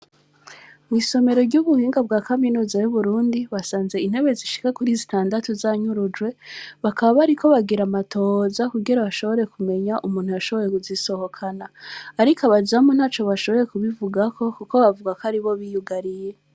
Mw’isomero ry’ubuhinga bwa kaminuza y’Uburundi, basanze intebe zishika kuri zitandatu zanyurujwe, bakaba bariko bagira amatohoza kugira bashobore kumenya umuntu yashoboye kuzisohokana; ariko abazamu ntaco bashoboye kubivugako, kuko bavuga ko aribo biyugariye.